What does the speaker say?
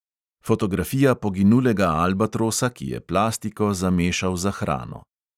Fotografija poginulega albatrosa, ki je plastiko zamešal za hrano.